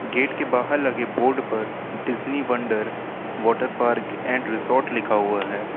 Gate के बाहर लगे बोर्ड पर Disney wonder water park and resort लिखा हुआ है।